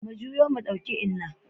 Mu juyo mu ɗauki Inna.